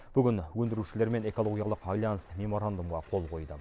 бүгін өндірушілер мен экологиялық альянс меморандумға қол қойды